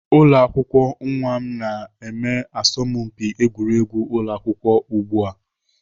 Ụlọakwụkwọ nwa m na-eme asọmpi egwuregwu ụlọ akwụkwọ ugbu a.